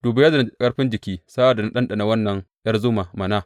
Duba yadda na ji ƙarfin jiki sa’ad da na ɗanɗana wannan ’yar zuma mana.